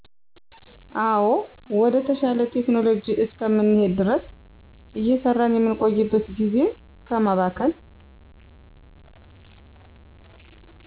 አዎ ወደ ተሻለ ቴክኖሎጂ እስከምንሄድ ድረስ እየሰራን የምንቆይበት ጊዜን ከማባከን